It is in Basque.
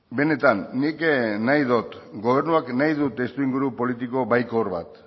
benetan nik nahi dut gobernuak nahi du testuinguru politiko baikor bat